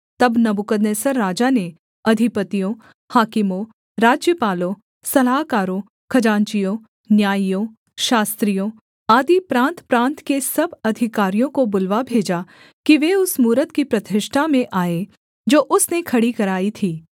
तब नबूकदनेस्सर राजा ने अधिपतियों हाकिमों राज्यपालों सलाहकारों खजांचियों न्यायियों शास्त्रियों आदि प्रान्तप्रान्त के सब अधिकारियों को बुलवा भेजा कि वे उस मूरत की प्रतिष्ठा में आएँ जो उसने खड़ी कराई थी